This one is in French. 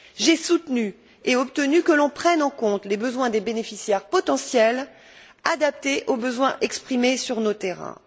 J'ai soutenu et obtenu que l'on prenne en compte les besoins des bénéficiaires potentiels, adaptés aux besoins exprimés sur nos terrains.